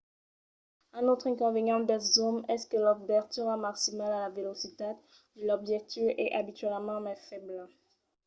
un autre inconvenient dels zooms es que l'obertura maximala la velocitat de l'objectiu es abitualament mai febla